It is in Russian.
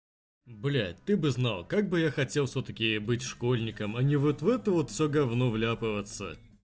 блять ты бы знал как бы я хотел всё-таки быть школьником а не вот в это вот все говно вляпываться